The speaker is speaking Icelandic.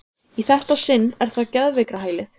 Í þetta sinn er það geðveikrahælið.